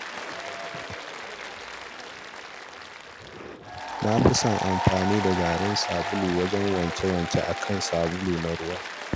Na fi son amfani da garin sabulu wajen yin wanke-wanke a kan sabulu na ruwa